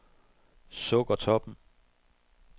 Sukkertoppen